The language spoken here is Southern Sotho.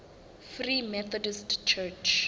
free methodist church